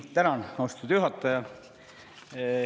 Tänan, austatud juhataja!